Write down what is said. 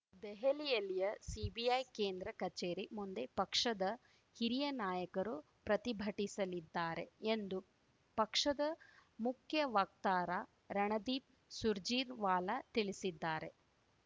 ದೆಹಲಿಯಲ್ಲಿಯ CBI ಕೇಂದ್ರ ಕಚೇರಿ ಮುಂದೆ ಪಕ್ಷದ ಹಿರಿಯ ನಾಯಕರು ಪ್ರತಿಭಟಿಸಲಿದ್ದಾರೆ ಎಂದು ಪಕ್ಷದ ಮುಖ್ಯ ವಕ್ತಾರ ರಣದೀಪ್‌ ಸುರ್ಜೇರ್ ವಾಲಾ ತಿಳಿಸಿದ್ದಾರೆ